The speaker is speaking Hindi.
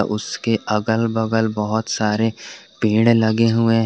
उसके अगल बगल बहोत सारे पेड़ लगे हुए--